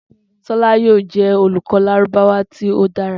Tola yoo jẹ olukọ Lárúbáwá ti o dara.